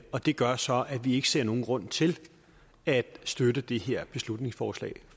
og det gør så at vi ikke ser nogen grund til at støtte det her beslutningsforslag